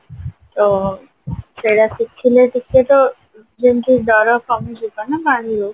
ଅ ସେଇଟା ଖୋଜୁଥିଲି ଟିକେ ତ ଯେମତି ଡର କମିଯିବ ନା ପାଣିରୁ